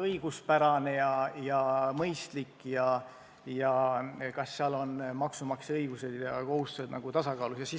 õiguspärane ja mõistlik ja kas maksumaksja õigused ja kohustused on tasakaalus.